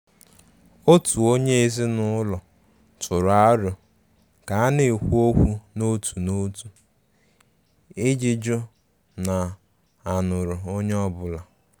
Òtù onye ezinụlọ tụrụ aro ka a na-ekwu okwu n' òtù n'òtu iji jụ na a nụrụ onye ọ́bụ̀la.